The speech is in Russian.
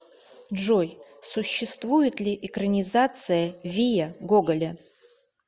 джой существует ли экранизация вия гоголя